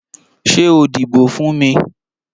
Ṣé o díbò fún mi?